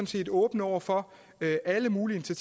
set åbne over for alle mulige